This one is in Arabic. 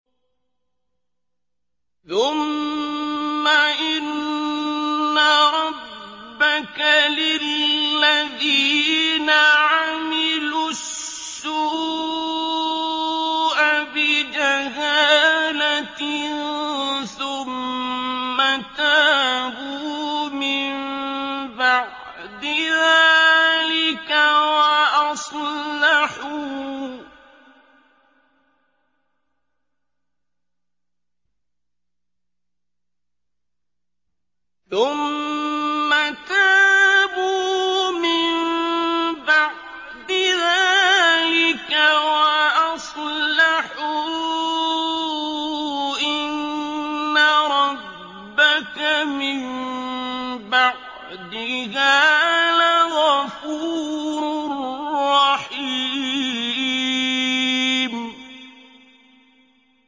ثُمَّ إِنَّ رَبَّكَ لِلَّذِينَ عَمِلُوا السُّوءَ بِجَهَالَةٍ ثُمَّ تَابُوا مِن بَعْدِ ذَٰلِكَ وَأَصْلَحُوا إِنَّ رَبَّكَ مِن بَعْدِهَا لَغَفُورٌ رَّحِيمٌ